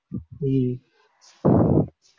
உம்